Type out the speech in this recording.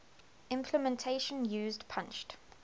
implementation used punched